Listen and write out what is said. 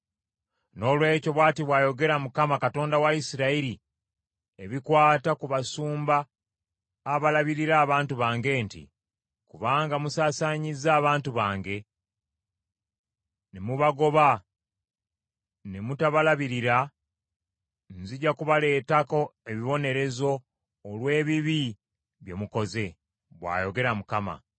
Noolwekyo, bw’ati bw’ayogera Mukama , Katonda wa Isirayiri ebikwata ku basumba abalabirira abantu bange nti, “Kubanga musaasaanyizza abantu bange ne mubagoba ne mutabalabirira, nzija kubaleetako ebibonerezo olw’ebibi bye mukoze,” bw’ayogera Mukama .